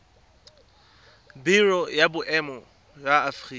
biro ya boemo ya aforika